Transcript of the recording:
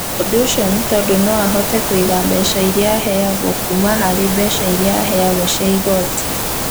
Ũndũ ũcio nĩ tondũ no ahote kũiga mbeca iria aheagwo kuuma harĩ mbeca iria aheagwo cia igoti.